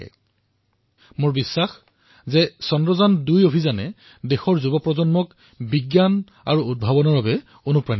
মোৰ সম্পূৰ্ণ বিশ্বাস যে চন্দ্ৰায়ন২ৰ অভিযানে দেশৰ যুৱ প্ৰজন্মক বিজ্ঞান আৰু উদ্ভাৱনৰ বাবে উৎসাহিত কৰিব